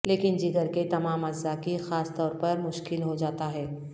لیکن جگر کے تمام اعضاء کی خاص طور پر مشکل ہو جاتا ہے